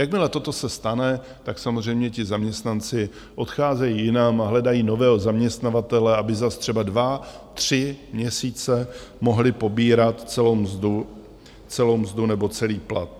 Jakmile toto se stane, tak samozřejmě ti zaměstnanci odcházejí jinam a hledají nového zaměstnavatele, aby zas třeba dva tři měsíce mohli pobírat celou mzdu nebo celý plat.